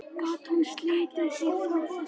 Gat hún slitið sig frá þessu?